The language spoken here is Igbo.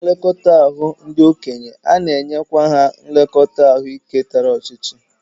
N'ụlọ nlekọta ndị okenye, ana-enyekwa ha nlekọta ahụike tara ọchịchị